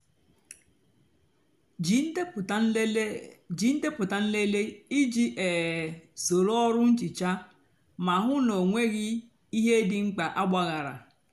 jí ndepụta nlele jí ndepụta nlele íjì um sóró ọrụ nhicha mà hú ná ọ nwéeghị íhè dị mkpá àgbághara.